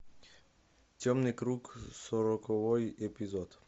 темный круг сороковой эпизод